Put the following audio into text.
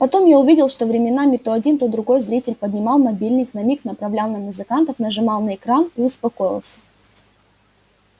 потом я увидел что временами то один то другой зритель поднимал мобильник на миг направлял на музыкантов нажимал на экран и успокоился